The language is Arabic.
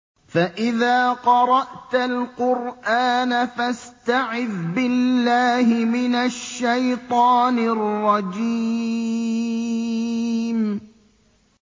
فَإِذَا قَرَأْتَ الْقُرْآنَ فَاسْتَعِذْ بِاللَّهِ مِنَ الشَّيْطَانِ الرَّجِيمِ